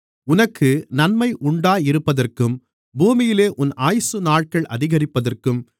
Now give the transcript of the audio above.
உனக்கு நன்மை உண்டாயிருப்பதற்கும் பூமியிலே உன் ஆயுசுநாட்கள் அதிகரிப்பதற்கும்